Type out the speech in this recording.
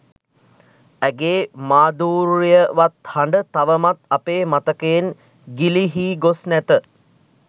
ඇගේ මාධූර්යවත් හඬ තවමත් අපේ මතකයෙන් ගිලිහී ගොස් නැත.